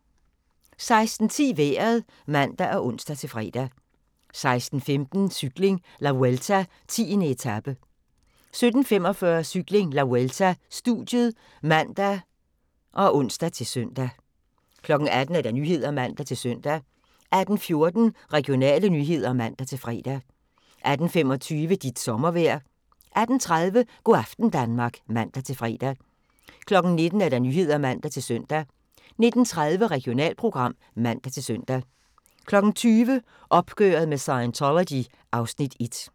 16:10: Vejret (man og ons-fre) 16:15: Cykling: La Vuelta - 10. etape 17:45: Cykling: La Vuelta - studiet (man og ons-søn) 18:00: Nyhederne (man-søn) 18:14: Regionale nyheder (man-fre) 18:25: Dit sommervejr 18:30: Go' aften Danmark (man-fre) 19:00: Nyhederne (man-søn) 19:30: Regionalprogram (man-søn) 20:00: Opgøret med Scientology (Afs. 1)